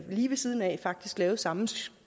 lige ved siden af lavet samme